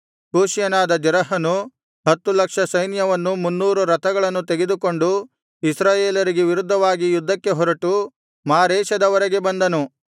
ಕೂಷ್ಯನಾದ ಜೆರಹನು ಹತ್ತು ಲಕ್ಷ ಸೈನ್ಯವನ್ನೂ ಮುನ್ನೂರು ರಥಗಳನ್ನೂ ತೆಗೆದುಕೊಂಡು ಇಸ್ರಾಯೇಲರಿಗೆ ವಿರುದ್ಧವಾಗಿ ಯುದ್ಧಕ್ಕೆ ಹೊರಟು ಮಾರೇಷದವರೆಗೆ ಬಂದನು